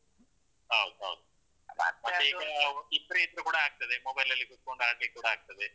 ಹೌದ್ ಹೌದು. ಇಬ್ರ್ ಇದ್ರು ಕೂಡ ಆಗ್ತದೆ mobile ಅಲ್ಲಿ ಕೂತ್ಕೊಂಡ್ ಆಡ್ಲಿಕ್ ಕೂಡ ಆಗ್ತದೆ.